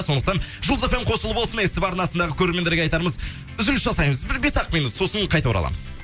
сондықтан жұлдыз эф эм қосулы болсын ств арасындағы көреремендерге айтарымыз үзіліс жасаймыз бір бес ақ минут сосын қайта ораламыз